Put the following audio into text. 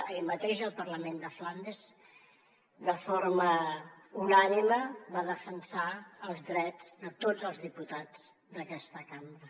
ahir mateix el parlament de flandes de forma unànime va defensar els drets de tots els diputats d’aquesta cambra